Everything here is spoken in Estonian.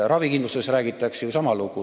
Ravikindlustusega seoses räägitakse ju sama.